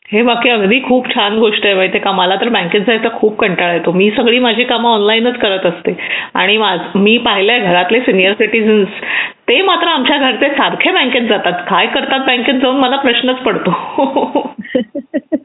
हे बाकी अगदी खूप छान गोष्ट आहे माहिती का मला तर बँकेत जायचा खूप कंटाळा येतो मी माझे सगळे काम ऑनलाईनच करत असते आणि मी पाहिले घरातले सीनियर सिटीजन ते मात्र आमचे घरचे सारखे बँकेत जातात काय करतात बँकेत जाऊन मला प्रश्न पडतो